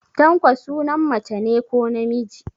Tanko sunan mace ne ko namiji?